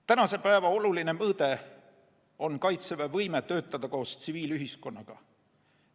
Tänapäeva oluline mõõde on Kaitseväe võime töötada koos tsiviilühiskonnaga.